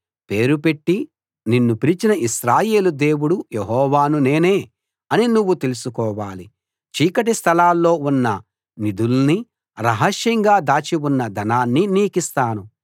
పేరు పెట్టి నిన్ను పిలిచిన ఇశ్రాయేలు దేవుడు యెహోవాను నేనే అని నువ్వు తెలుసుకోవాలి చీకటి స్థలాల్లో ఉన్న నిధుల్నీ రహస్యంగా దాచి ఉన్న ధనాన్నీ నీకిస్తాను